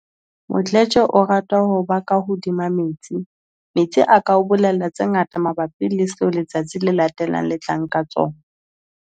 Mdletshe o rata ho ba ka hodima metsi. "Metsi a ka o bolella tse ngata mabapi le seo letsatsi le latelang le tlang ka tsona."